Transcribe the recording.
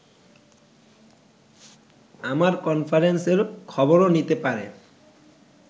আমার কনফারেন্সের খবরও নিতে পারে